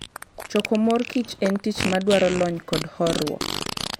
Choko mor kich en tich madwaro lony kod horuok.